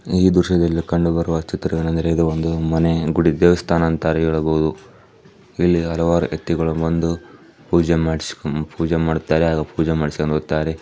ಈ ದೇಶದಲ್ಲಿ ಈ ದೃಶ್ಯದಲ್ಲಿ ಕಂಡು ಬರುವ ಚಿತ್ರವೇನೆಂದರೆ ಮನೆ ಗುಡಿ ದೇವಸ್ಥಾನ ಅಂತ ಹೇಳಬಹುದು ಇಲ್ಲಿ ಹಲವಾರು ವ್ಯಕ್ತಿಗಳು ಬಂದು ಪೂಜೆ ಮಾಡಿಸಿಕೊಂಡು ಹೋಗುತ್ತಾರೆ.